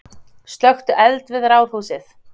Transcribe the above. Slökktu eld við Ráðhúsið